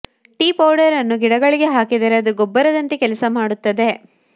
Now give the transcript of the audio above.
tea powder ಅನ್ನು ಗಿಡಗಳಿಗೆ ಹಾಕಿದರೆ ಅದು ಗೊಬ್ಬರದಂತೆ ಕೆಲಸ ಮಾಡುತ್ತದೆ